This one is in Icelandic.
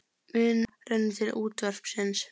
Minna rennur til útvarpsins